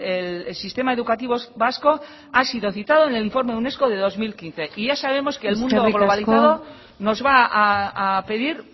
el sistema educativo vasco ha sido citado en el informe unesco de dos mil quince y ya sabemos que el mundo globalizado eskerrik asko mendizabal andrea nos va a pedir